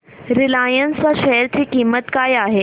Reliance च्या share ची किंमत काय आहे